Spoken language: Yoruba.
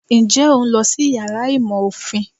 Nje o n lọ sí iyàrá ìmọ ofín?